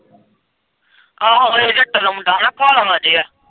ਆਹੋ ਉਹ ਜੰਡੋ ਦਾ ਮੁੰਡਾ ਨਾ ਭੋਲਵਾਂ ਜਿਹਾ।